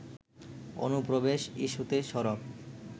অনুপ্রবেশ ইস্যুতে সরব